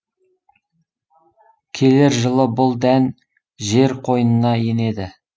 келер жылы бұл дән жер қойнына енеді